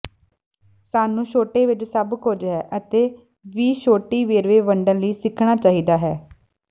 ਸਾਨੂੰ ਛੋਟੇ ਵਿੱਚ ਸਭ ਕੁਝ ਹੈ ਅਤੇ ਵੀ ਛੋਟੀ ਵੇਰਵੇ ਵੰਡਣ ਲਈ ਸਿੱਖਣਾ ਚਾਹੀਦਾ ਹੈ